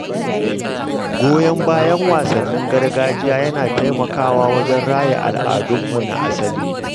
Goyon bayan wasannin gargajiya yana taimakawa wajen raya al’adunmu na asali.